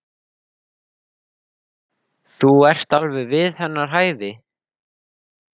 Það taldi hún mig vita jafn vel og sig.